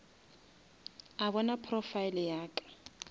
a bona profile ya ka